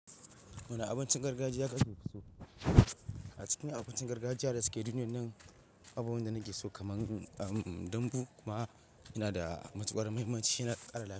Wani abincin gargajiya ka ke fi so? A cikin abincin gargajiya da suke duniya nan, akwai babu wanda nake so kaman, um, dambu kuma yana da matuƙar muhimmanci yana ƙara la.